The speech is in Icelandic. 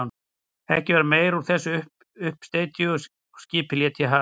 Ekki varð meira úr þessum uppsteyti og skipið lét í haf.